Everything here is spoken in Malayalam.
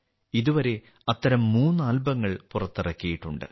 ഇതുവരെ അത്തരം മൂന്ന് ആൽബങ്ങൾ പുറത്തിറക്കിയിട്ടുണ്ട്